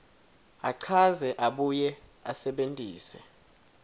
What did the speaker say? achaze abuye asebentise